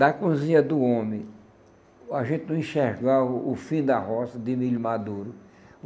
Da cozinha do homem, a gente não enxergava o fim da roça de milho maduro.